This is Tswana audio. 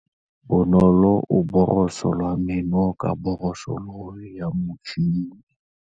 Bonolô o borosola meno ka borosolo ya motšhine.